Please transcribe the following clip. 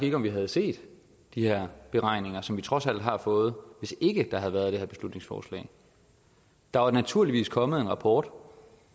ikke om vi havde set de her beregninger som vi trods alt har fået hvis ikke der havde været det her beslutningsforslag der var naturligvis kommet en rapport